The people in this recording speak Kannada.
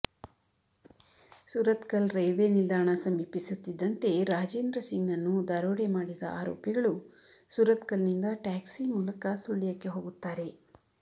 ಸುರತ್ಕಲ್ ರೈಲ್ವೆ ನಿಲ್ದಾಣ ಸಮೀಪಿಸುತ್ತಿದ್ದಂತೆ ರಾಜೇಂದ್ರ ಸಿಂಗ್ನನ್ನು ದರೋಡೆ ಮಾಡಿದ ಆರೋಪಿಗಳು ಸುರತ್ಕಲ್ ನಿಂದ ಟ್ಯಾಕ್ಸಿ ಮೂಲಕ ಸುಳ್ಯಕ್ಕೆ ಹೋಗುತ್ತಾರೆ